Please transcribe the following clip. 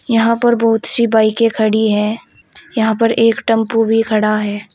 यहां पर बहुत सी बाइके खड़ी है यहां पर एक टेंपो भी खड़ा है।